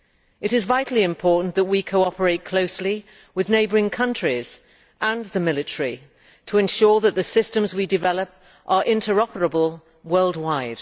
It is vitally important that we cooperate closely with neighbouring countries and the military to ensure that the systems we develop are interoperable worldwide.